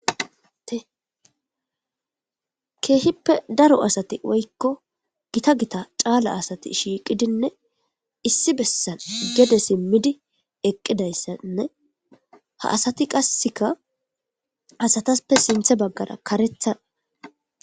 tekeehippe daro asati woykko gita gita caala asati shiiqidinne issi bessan gede simmidi eqqidayssanne ha asati qasseka asataspe sinthe baggara karethaa